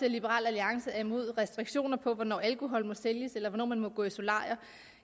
at liberal alliance er imod restriktioner for hvornår alkohol må sælges eller hvornår man må gå i solarium